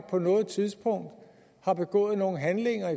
på noget tidspunkt har begået nogle handlinger